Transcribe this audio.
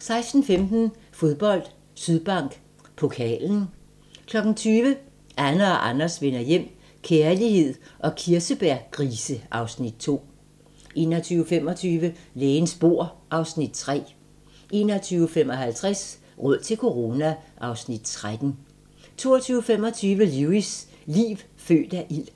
16:15: Fodbold: Sydbank Pokalen 20:00: Anne og Anders vender hjem - kærlighed og kirsebærgrise (Afs. 2) 21:25: Lægens bord (Afs. 3) 21:55: Råd til corona (Afs. 13) 22:25: Lewis: Liv født af ild